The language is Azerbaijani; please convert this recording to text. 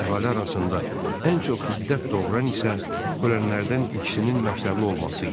Əhali arasında ən çox hiddət doğuran isə ölənlərdən ikisinin məktəbli olması idi.